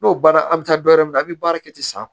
N'o baara an bɛ taa dɔ wɛrɛ mina a bɛ baara kɛ ten sisan